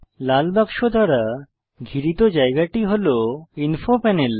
লাল বাক্স দ্বারা ঘিরিত জায়গাটি হল ইনফো প্যানেল